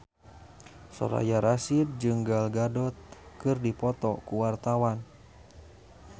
Soraya Rasyid jeung Gal Gadot keur dipoto ku wartawan